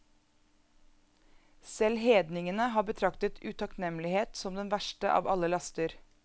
Selv hedningene har betraktet utakknemlighet som den verste av alle laster.